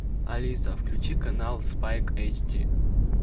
алиса включи канал спайк эйч ди